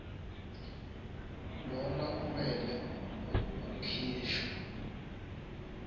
lona kumele ukhishwe